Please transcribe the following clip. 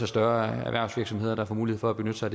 større erhvervsvirksomheder der får mulighed for at benytte sig